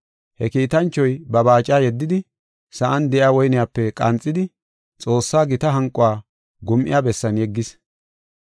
He kiitanchoy ba baaca yeddidi, sa7an de7iya woyniyape qanxidi, Xoossaa gita hanquwa gum7iya bessan yeggis.